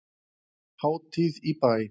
Hátíð í bæ